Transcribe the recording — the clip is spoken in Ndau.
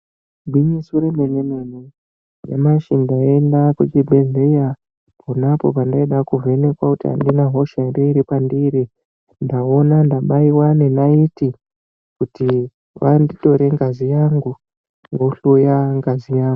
Igwinyiso remene-mene nyamashi ndaenda kuchibhehlera ponapo pandaida kuvhenekwa kuti handina hosha here iri pandiri, ndaona ndabaiwa nenayeti kuti vandindore ngazi yangu vohloya ngazi yako....